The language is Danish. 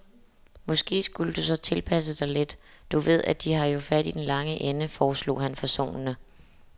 Måske skulle du så tilpasse dig lidt, du ved, de har jo fat i den lange ende, foreslog han forsonende.